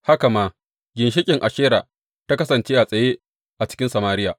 Haka ma, ginshiƙin Ashera ta kasance a tsaye a cikin Samariya.